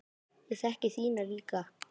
Ég þekki þína líka.